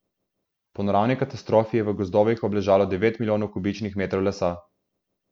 Po naravni katastrofi je v gozdovih obležalo devet milijonov kubičnih metrov lesa.